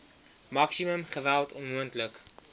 maksimum geweld onmoontlik